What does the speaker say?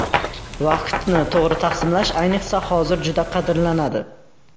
Vaqtni to‘g‘ri taqsimlash ayniqsa hozir juda qadrlanadi.